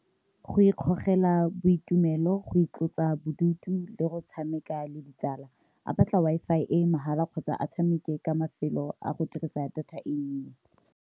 Go ikgogela boitumelo, go itlosa bodutu, le go tshameka le ditsala a batla Wi-Fi e mahala kgotsa a tshameke ka mafelo a go dirisa data e ntsi.